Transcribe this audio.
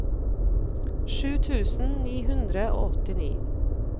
sju tusen ni hundre og åttini